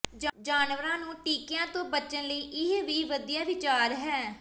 ਜਾਨਵਰਾਂ ਨੂੰ ਟਿੱਕਿਆਂ ਤੋਂ ਬਚਣ ਲਈ ਇਹ ਵੀ ਵਧੀਆ ਵਿਚਾਰ ਹੈ